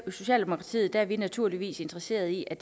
socialdemokratiet er vi naturligvis interesseret i at